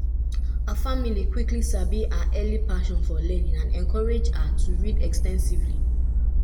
at eleven her geography teacher bin tok about astronauts wey spark her lifelong interest in science.